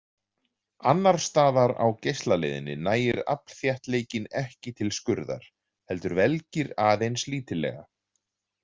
Annarsstaðar á geislaleiðinni nægir aflþéttleikinn ekki til skurðar heldur velgir aðeins lítillega.